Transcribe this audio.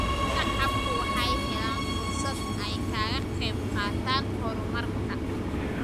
Shacabku waxay helaan fursad ay kaga qayb qaataan horumarka.